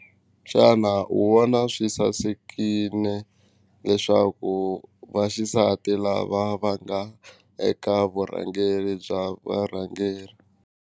Xana u vona swi sasekini leswaku va xisati lava va nga eka vurhangeri bya varhangeri.